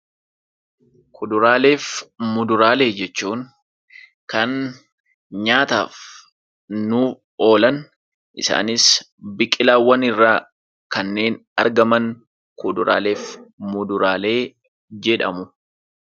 Kuduraalee fi muduraalee jechuun kan nyaataaf nuu oolan isaanis biqilaawwan irraa kanneen argaman kuduraalee fi muduraalee jedhamu.